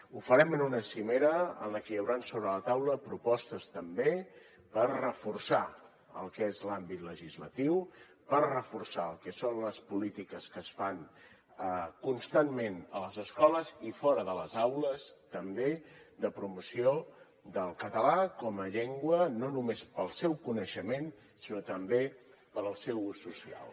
ho farem en una cimera en la que hi hauran sobre la taula propostes també per reforçar el que és l’àmbit legislatiu per reforçar el que són les polítiques que es fan constantment a les escoles i fora de les aules també de promoció del català com a llengua no només per al seu coneixement sinó també per al seu ús social